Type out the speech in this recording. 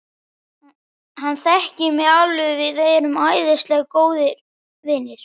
Hann þekkir mig alveg, við erum æðislega góðir vinir.